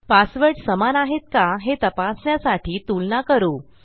password समान आहेत का हे तपासण्यासाठी तुलना करू